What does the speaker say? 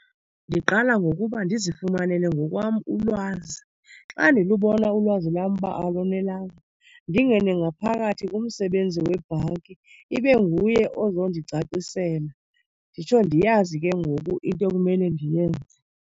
Ndiqala ngokuba ndizifumanele ngokwam ulwazi. Xa ndilubona ulwazi lam uba alonelanga, ndingene ngaphakathi kumsebenzi webhanki. Ibe nguye ozondicacisela nditsho ndiyazi ke ngoku into ekumele ndiyenze.